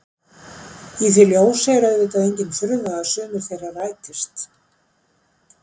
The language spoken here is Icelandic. Í því ljósi er auðvitað engin furða að sumir þeirra rætist.